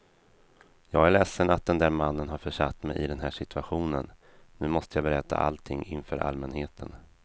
Jag är ledsen att den där mannen har försatt mig i den här situationen, nu måste jag berätta allting inför allmänheten.